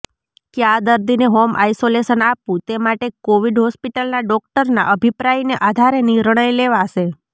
કયા દર્દીને home isolation આપવું તે માટે કોવિડ હોસ્પિટલના ડોકટરના અભિપ્રાયને આધારે નિર્ણય લેવાશે